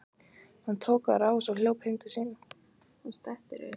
Hann tók á rás og hljóp heim til sín.